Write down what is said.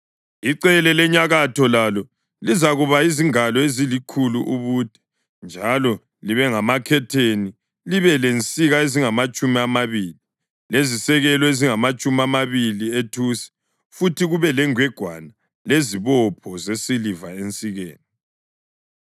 Icele lenyakatho lalo lizakuba yizingalo ezilikhulu ubude njalo libe lamakhetheni, libe lensika ezingamatshumi amabili lezisekelo ezingamatshumi amabili ethusi futhi kube lengwegwana lezibopho zesiliva ensikeni.